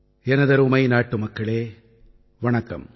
எனதருமை நாட்டுமக்களே வணக்கம்